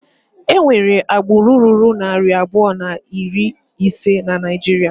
Enwere agbụrụ ruru narị abụọ na iri ise na Naijiria.